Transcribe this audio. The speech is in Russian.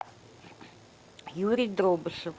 юрий дробышев